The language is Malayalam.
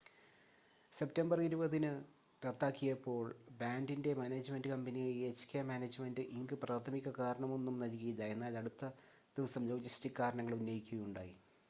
സെപ്റ്റംബർ 20-ന് റദ്ദാക്കിയപ്പോൾ ബാൻഡിൻ്റെ മാനേജ്മെൻ്റ് കമ്പനിയായ എച്ച്കെ മാനേജ്മെൻ്റ് ഇങ്ക് പ്രാഥമിക കാരണമൊന്നും നൽകിയില്ല എന്നാൽ അടുത്ത ദിവസം ലോജിസ്റ്റിക് കാരണങ്ങൾ ഉന്നയിക്കുകയുണ്ടായി